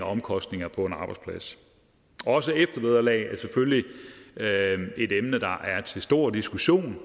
omkostninger på en arbejdsplads og også eftervederlaget er selvfølgelig et emne der er til stor diskussion